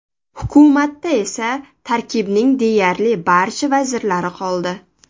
Hukumatda eski tarkibning deyarli barcha vazirlari qoldi.